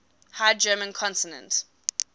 high german consonant